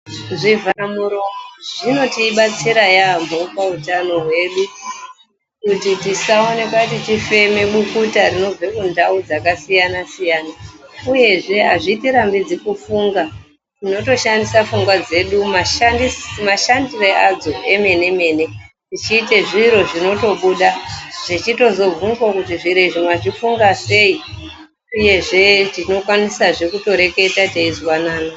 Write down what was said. Zvivharamuromo zvinotibatsira yambo pautano hwedu, kuti tisawanikwa tichifema bukuta rinobve mundau dzakasiyana-siyana, uyezve azvitirambidzi kufunga, tinotoshandisa pfungwa dzedu mashandiro adzo emene-mene ,tichiyita zviro zvinotobuda ,tichitozobvunzwa kuti zviro mazvifunga sei uyezve tinokwanisazve kutoreketa teyizwanana.